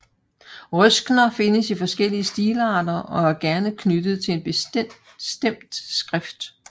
Røskner findes i forskellige stilarter og er gerne knyttet til en bestemt skrift